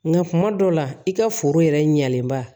Nka kuma dɔw la i ka foro yɛrɛ ɲɛlenba